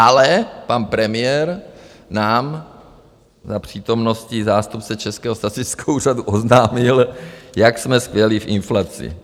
Ale pan premiér nám za přítomnosti zástupce Českého statistického úřadu oznámil, jak jsme skvělí v inflaci.